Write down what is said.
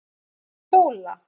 Sóla